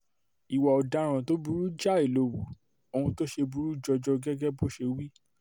ìwà ọ̀daràn tó burú jáì ló hu ohun tó ṣe burú jọjọ gẹ́gẹ́ bó ṣe wí